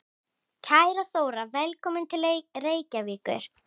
Kæra Þóra. Velkomin til Reykjavíkur.